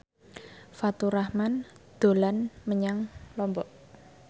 Faturrahman dolan menyang Lombok